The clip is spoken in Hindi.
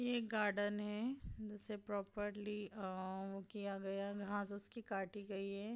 ये एक गार्डन है जिसे प्रॉपर्ली अ अ किया गया घास उसकी काटी गई है।